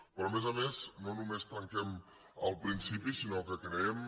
però a més a més no només trenquem el principi sinó que creem